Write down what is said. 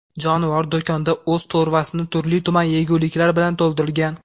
Jonivor do‘konda o‘z to‘rvasini turli-tuman yeguliklar bilan to‘ldirgan.